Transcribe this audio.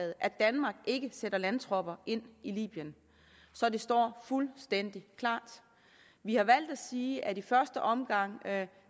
at danmark ikke sætter landtropper ind i libyen så det står fuldstændig klart vi har valgt at sige at vi i første omgang